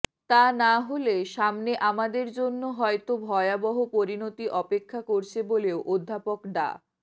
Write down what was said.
তা না হলে সামনে আমাদের জন্য হয়তো ভয়াবহ পরিণতি অপেক্ষা করছে বলেও অধ্যাপক ডা